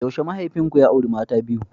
Yaushe mahaifinku ya auri mata ta biyu?